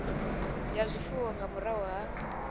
ya zwifuwo nga murahu ha